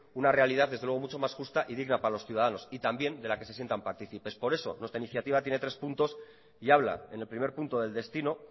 una realidad desde luego mucho más justa y digna para los ciudadanos y también de la que se sientan partícipes por eso nuestra iniciativa tiene tres punto habla en el primer punto del destino